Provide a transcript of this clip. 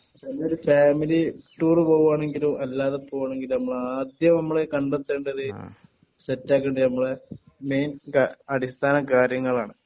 പിന്നൊരു family tour പോവാണെങ്കിൽ എല്ലാരും പോവാണെങ്കിലും നമ്മൾ ആദ്യം നമ്മൾ കണ്ടെത്തേണ്ടത് സെറ്റാകേണ്ടത് മെയിൻ അടിസ്ഥാന കാര്യങ്ങളാണ്